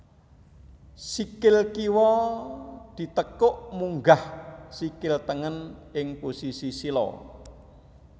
Sikil kiwa ditekuk munggah sikil tengen ing posisi sila